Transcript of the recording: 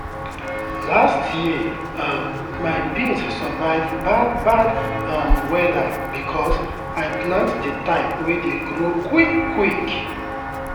last year um my beans survive bad bad um weather because i plant the type wey dey grow quick quick.